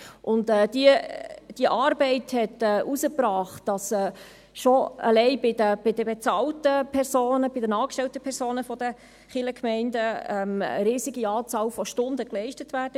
Diese Arbeit hat ergeben, dass allein bei den bezahlten, angestellten Personen der Kirchgemeinden eine riesige Anzahl Stunden geleistet wird.